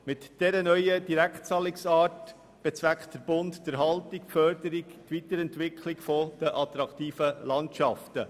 Mit dieser neuen Direktzahlungsart bezweckt der Bund die Erhaltung, Förderung und Weiterentwicklung der attraktiven Landschaften.